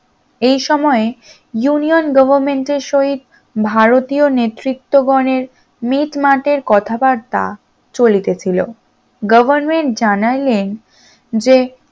এই সময় union government এর সহিত ভারতীয় নেতৃত্ব গনের মিটমাটের কথাবার্তা চলিতে ছিল, government জানাইলেন যে